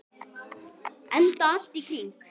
Enda allt í kring.